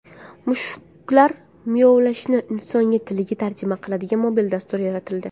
Mushuklar miyovlashini inson tiliga tarjima qiladigan mobil dastur yaratildi.